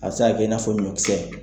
A bɛ se ka kɛ i n'a fɔ ɲɔnkisɛ.